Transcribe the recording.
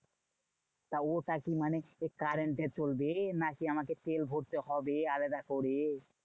তা ওটা কি? মানে current এ চলবে? না কি আমাকে তেল ভরতে হবে আলাদা করে?